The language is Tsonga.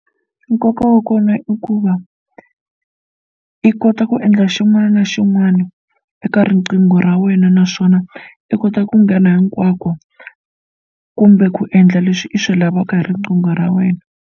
Nkoka wa kona i ku va i kota ku endla xin'wana na xin'wana eka riqingho ra wena naswona i kota ku nghena hinkwako kumbe ku endla leswi i swi lavaka hi riqingho ra wena.